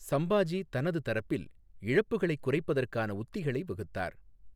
சம்பாஜி தனது தரப்பில் இழப்புகளைக் குறைப்பதற்கான உத்திகளை வகுத்தார்.